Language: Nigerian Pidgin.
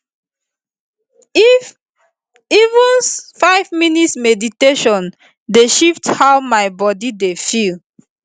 if even five minutes meditation dey shift how my body dey feel